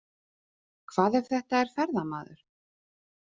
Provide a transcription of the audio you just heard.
Hvað ef þetta er ferðamaður?